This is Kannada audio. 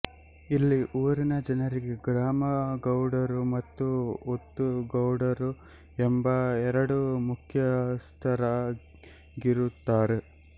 ಇಲ್ಲಿ ಊರಿನ ಜನರಿಗೆ ಗ್ರಾಮ ಗೌಡರು ಮತ್ತು ಒತ್ತು ಗೌಡರು ಎಂಬ ಎರಡು ಮುಖ್ಯಸ್ಥರಾಗಿರುತ್ತಾರೆ